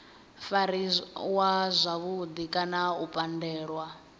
fariwa zwavhudi kana u pandelwa